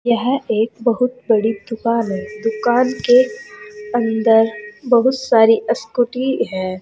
यह एक बहुत बड़ी दुकान है दुकान के अंदर बहुत सारी स्कूटी है।